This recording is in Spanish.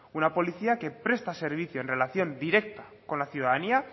una policía que presta servicio en relación directa con la ciudadanía